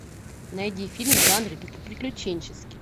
найди фильм в жанре приключенческий